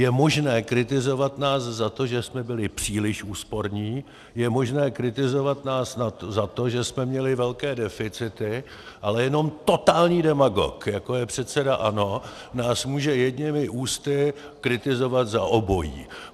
Je možné kritizovat nás za to, že jsme byli příliš úsporní, je možné kritizovat nás za to, že jsme měli velké deficity, ale jenom totální demagog, jako je předseda ANO, nás může jedněmi ústy kritizovat za obojí.